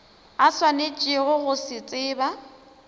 a swanetšego go se tseba